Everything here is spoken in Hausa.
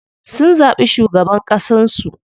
Sun zaɓi shugaban ƙasan su.